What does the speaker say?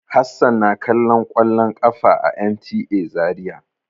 Hassan na kallon kwallon ƙafa a NTA Zariya.